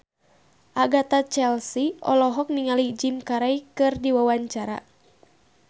Agatha Chelsea olohok ningali Jim Carey keur diwawancara